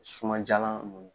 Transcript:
Sumanjalan nun